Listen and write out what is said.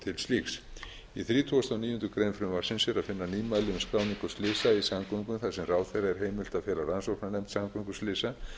slíks í þrítugasta og níundu grein frumvarpsins er að finna nýmæli um skráningu slysa í samgöngum þar sem ráðherra er heimilt að fela rannsóknarnefnd samgönguslysa